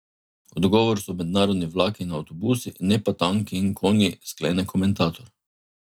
Odgovor so mednarodni vlaki in avtobusi, ne pa tanki in konji, sklene komentator.